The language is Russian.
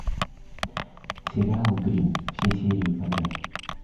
сериал гримм все серии подряд